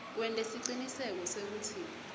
wente siciniseko sekutsi